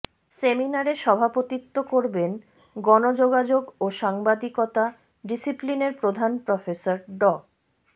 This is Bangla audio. সেমিনারে সভাপতিত্ব করবেন গণযোগাযোগ ও সাংবাদিকতা ডিসিপ্লিনের প্রধান প্রফেসর ড